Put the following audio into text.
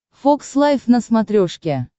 фокс лайв на смотрешке